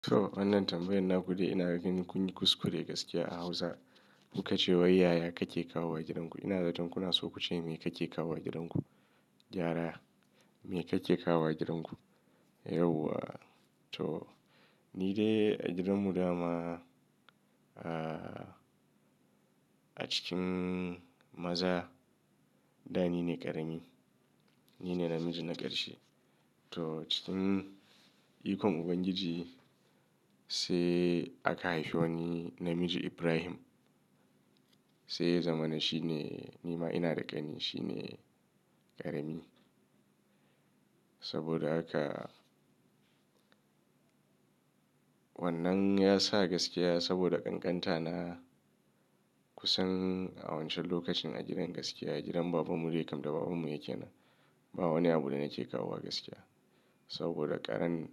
To wannan tambayar na kudai ina ganin kun yi kuskure gaskiya a hausa kuka ce wa yaya kake kawo wa gidan ku. Ina zaton kuna so ku ce me kake kawo wa gidan ku, gyara me kake kawo wa gidan ku? Yauwa to ni dai a gidan mu dama a cikin maza da ni ne ƙarami, ni ne namiji na ƙarshe. To cikin ikon Ubangiji sai aka haifo wani namiji Ibrahim sai ya zama na shi ne nima ina da ƙani shi ne ƙarami. Saboda haka wannan ya sa gaskiya saboda ƙanƙanta na kusan a wancan lokacin a gidan gaskiya a gidan baban mu dai kam da baban mu yake na ba wani abu da nake kawo wa gaskiya. Saboda karan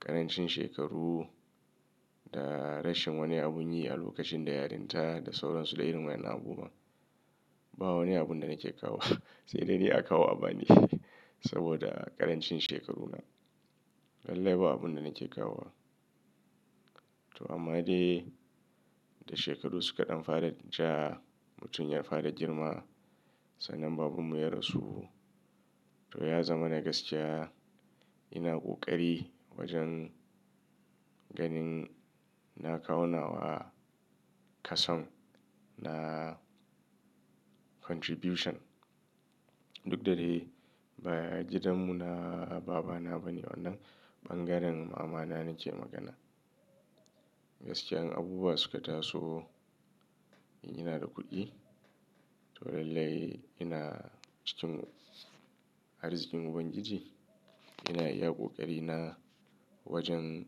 ƙarancin shekaru da rashin wani abun yi a lokacin da yarinta da sauransu da irin wannan abubuwa. Ba wani abun da nake kawo sai dai ne a kawo a bani saboda ƙarancin shekaru na. Lallai ba abun da nake kawo wa to amma dai da shekaru suka ɗan fara ja mutum ya fara girma sannan baban mu ya rasu to ya zama na gaskiya ina ƙoƙari wajen ganin na kawo nawa kasan na contribution. Duk da dai ba gidan mu na babana bane wannan ɓangaren mamana nake magana. Gaskiyan abubuwa suka taso ina da kuɗi to lallai ina cikin arzikin Ubangiji ina iya ƙoƙari na wajen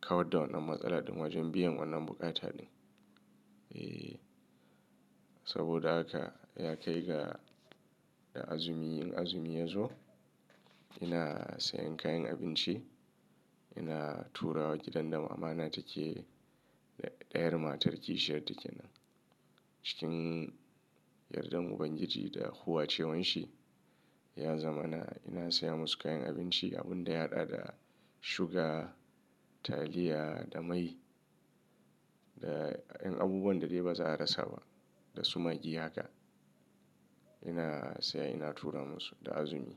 kawar da wannan matsala din wajen biyan wannan buƙata din. Eh saboda haka ya kai ga da azumi, azumi ya zo ina sayan kayan abinci ina turawa gidan da mamana take da ɗayar matar kishiyar take nan. Cikin yardan Ubangiji da huwace wan shi ya zama na ina saya musu kayan abinci abun da ya haɗa da suga, taliya da mai da yan abubuwan da dai ba za a rasa ba da su maggi haka. Ina saya ina tura musu da azumi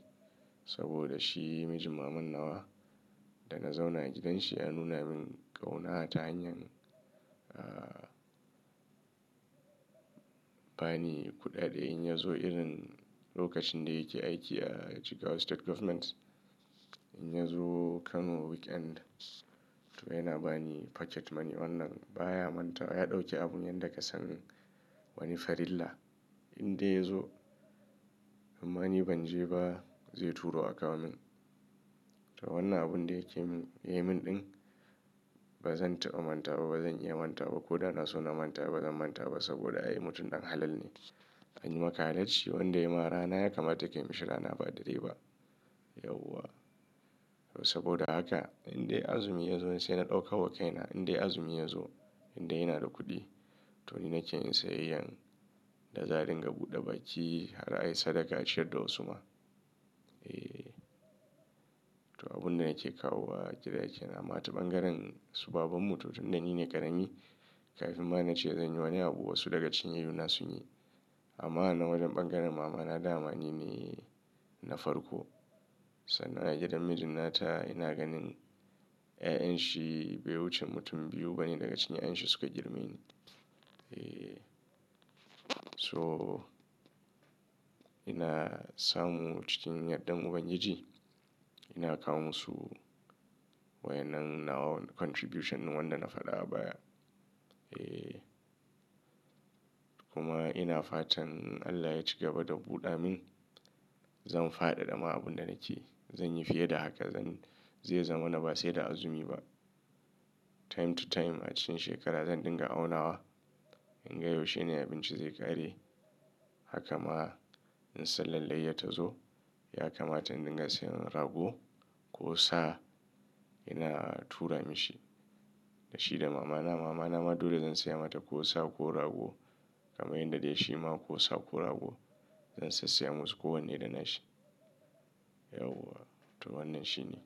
saboda shi mijin maman nawa da na zauna a gidanshi ya nuna min ƙauna ta hanyar ba ni kuɗaɗe in ya zo irin lokacin da yake aiki a Jigawa State Government. In ya zo Kano weekend to yana ba ni pocket money wannan baya manta ya ɗauke abun yan daga sanin wani farilla in dai ya zo amma ni ban je ba zai turo a kawo min. To wannan abun da yake yi min ɗin bazan taɓa manta ba bazan iya manta ba ko da na so na manta ba zan manta ba saboda ai mutum ɗan halal ne. Anyi maka halacci wanda ya ma rana ya kamata ka mishi rana ba da rai ba. Yauwa saboda haka in dai azumi ya zo sai na ɗauka wa kaina in dai azumi ya zo in dai ina da kuɗi to ni nake yin sayayyan da zarin ga buɗe baki har ai sadaka a ciyar da wasuma. Eh to abun da nake kawo wa gida yake nama ta ɓangaren su baban mu to tun da ni ne ƙarami kafin ma na ce zan yi wani abu wasu daga cikin yayona sun yi. Amma a na wajen ɓangaren mamana dama ni ne na farko sannan a gidan mijin nata ina ganin 'ya'yan shi bai wuce mutum biyu bane daga cinyayen shi suka girmi ni. Eh so ina samu cikin yardan Ubangiji ina kawo musu wa wadannan nawa contribution wanda na faɗa baya. Eh kuma ina fatan Allah ya ci gaba da buɗa min zan faɗaɗa ma abun da nake zan yi fiye da haka zan zai zama na ba sai da azumi ba. Time to time a cikin shekara zan dinga aunawa in ga yaushe ne abinci zai ƙare haka ma in sai lallai ya tazo ya kamata in dinga sayan rago ko sa ina tura mishi. Da shi da mamana mamana ma dole zan saya mata ko sa ko rago kamar yadda dai shi ma ko sa ko rago zan sai saya masa ko wanne da nashi. Yauwa to wannan shine.